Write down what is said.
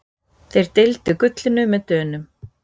Þeir deildu gullinu með Dönum.